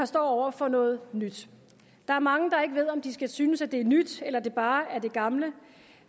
står over for noget nyt der er mange der ikke ved om de skal synes at det er nyt eller det bare er det gamle